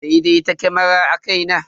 Daidaita kamarar akai na.